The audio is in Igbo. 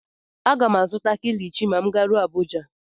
M ga-azụta Kilichi ma m garuo Abuja.